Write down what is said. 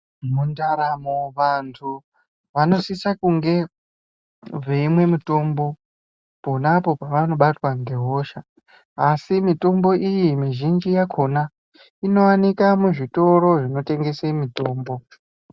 Mundaramo vantu vanosise kunge veimwe mitombo ponapo pavanobatwa ngehosha asi mitombo iyi mizhinji yakhona inowanika muzvitoro zvinotengese mitombo.